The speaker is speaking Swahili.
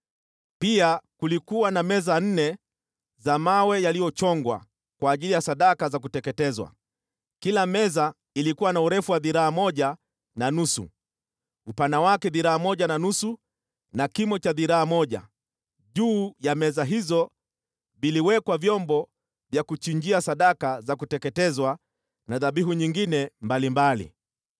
Pia kulikuwa na meza nne za mawe yaliyochongwa kwa ajili ya sadaka za kuteketezwa, kila meza ilikuwa na urefu wa dhiraa moja na nusu, upana wake dhiraa moja na nusu na kimo cha dhiraa moja. Juu ya meza hizo viliwekwa vyombo vya kuchinjia sadaka za kuteketezwa na dhabihu nyingine mbalimbali.